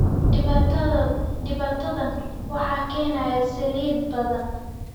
Dhibaatadan waxaa keenay saliid badan